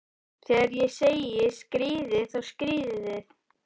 Þegar ég segi skríðið, þá skríðið þið.